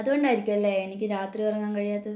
അത് കൊണ്ടായിരിക്കും അല്ലെ എനിക്ക് രാത്രി ഉറങ്ങാൻ കഴിയാത്തത്